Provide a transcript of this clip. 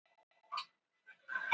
Boðar stjórnarandstöðuna á fund